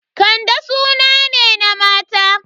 Kande suna ne na mata.